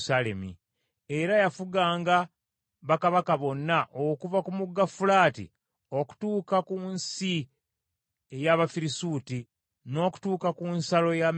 Era yafuganga bakabaka bonna okuva ku mugga Fulaati okutuuka ku nsi eya Abafirisuuti, n’okutuuka ku nsalo ya Misiri.